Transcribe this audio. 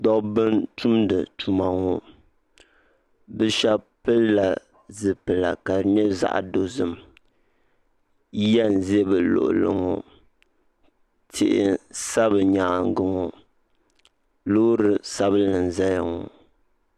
Dabba n tumdi tuma ŋɔ bi shɛba pili la zipila ka di yɛ zaɣi dozim yɛa n zi bi luɣili ŋɔ tihi maa bi yɛanga ŋɔ loori sabinli n zaya ŋɔ.